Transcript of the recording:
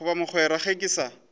goba mogwera ga ke sa